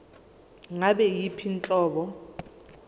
ngabe yiyiphi inhlobo